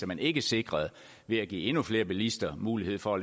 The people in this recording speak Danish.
man ikke sikrede ved at give endnu flere bilister mulighed for